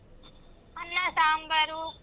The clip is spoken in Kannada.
ಅನ್ನ ಸಾಂಬಾರು.